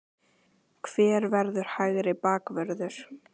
HVER VERÐUR HÆGRI BAKVÖRÐUR?